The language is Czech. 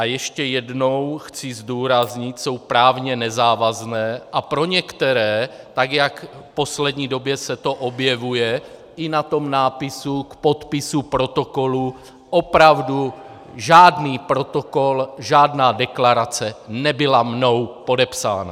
A ještě jednou chci zdůraznit, jsou právně nezávazné a pro některé, tak jak v poslední době se to objevuje i na tom nápisu k podpisu protokolu - opravdu žádný protokol, žádná deklarace nebyla mnou podepsána.